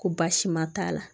Ko baasi ma t'a la